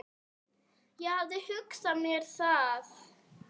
Ég hafði hugsað mér það.